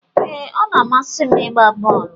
Ee, ọ na-amasị m ịgba bọọlụ